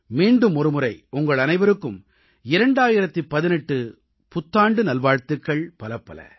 மீண்டும் ஒருமுறை உங்கள் அனைவருக்கும் 2018 புத்தாண்டு நல்வாழ்த்துக்கள் பலப்பல